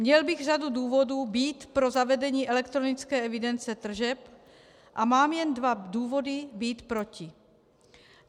Měl bych řadu důvodů být pro zavedení elektronické evidence tržeb a mám jen dva důvody být proti.